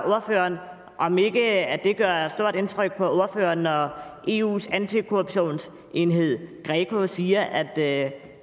ordføreren om det ikke gør stort indtryk på ordføreren når eus antikorruptionsenhed greco siger at